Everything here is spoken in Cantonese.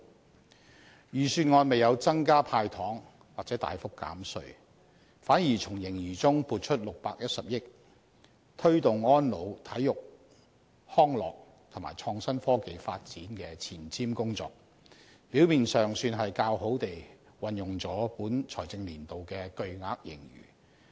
但是，預算案未有增加"派糖"或大幅減稅，反而從盈餘中撥出610億元推動安老、體育康樂和創新科技發展的前瞻工作，表面上算是較好地運用了本財政年度的巨額盈餘。